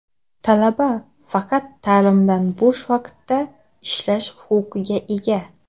talaba faqat ta’limdan bo‘sh vaqtida ishlash huquqiga ega.